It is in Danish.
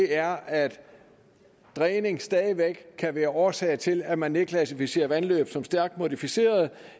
er at dræning stadig væk kan være årsag til at man nedklassificerer vandløb som stærkt modificeret